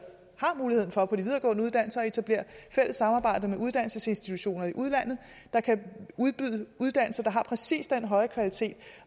har muligheden for på de videregående uddannelser etablerer fælles samarbejder med uddannelsesinstitutioner i udlandet der kan udbyde uddannelser der har præcis den høje kvalitet